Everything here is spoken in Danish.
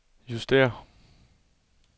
justér